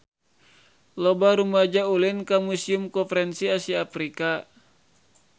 Loba rumaja ulin ka Museum Konferensi Asia Afrika